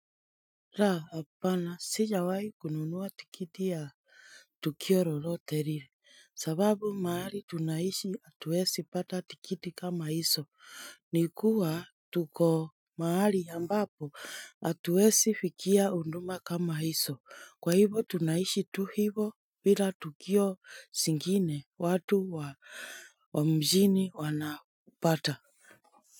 La, hapana, sijawahi kununua tikiti ya tukio lolote lile sababu mahali tunaishi hatuwezi pata tikiti kama hizo. Ni kuwa tuko mahali ambapo hatuwezi fikia huduma kama hizo, kwa hivo tunaishi tu hivo bila tukio zingine, watu wa mjini wanapata.